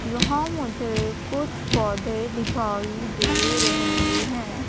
यहां मुझे कुछ पौधे दिखाई दे रहे हैं।